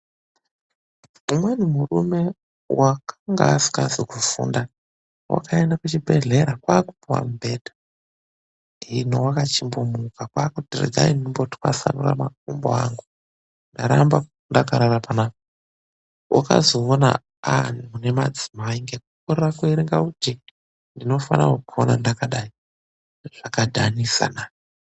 Umweni murume vakanga asikazi kufunda vakaenda kuchibhehlera hino vakachingomuruka kwaakuti rekai ndimbotwasanure makumbo angu ndaramba ndakaata panapa vakazoona vaamune madzimai nekukorera kuerenga kuti ndinofana kukona ndakadai, zvakadhanisana.